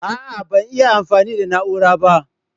ah ah ban iya amfani da na'ura ba